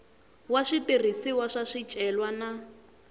wa switirhisiwa swa swicelwa na